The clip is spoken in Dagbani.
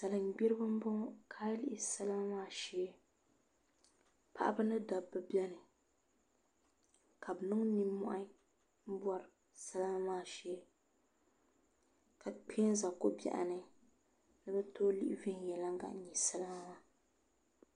Salin gbiribi n boŋo ka ayi lihi salima ŋo maa shee paɣaba ni dabba biɛni ka bi niŋ nimmohi n bori salima maa shee ka kpɛ n ʒɛ ko biɛɣu ni ni bi tooi nyɛ viɛnyɛlinga n yihi salima maa